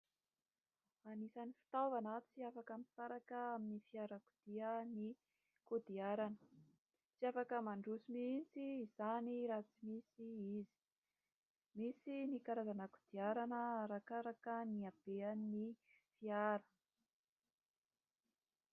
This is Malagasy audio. Anisany fitaovana tsy afaka misaraka amin'ny fiarakodia ny kodiarana. Tsy afaka mandroso mihitsy izany raha tsy misy izy. Misy ny karazana kodiarana arakaraka ny haben'ny fiara.